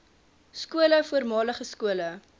skole voormalige skole